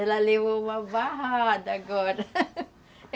Ela levou uma barrada agora.